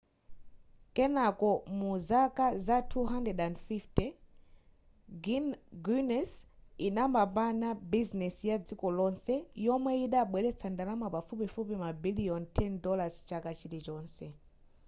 kenako muzaka za 250 guiness idapambana busines ya dziko lonse yomwe yidabweletsa ndalama pafupifupi mabiliyoni $10 chaka chilichonse